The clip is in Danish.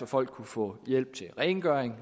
folk kunne få hjælp til rengøring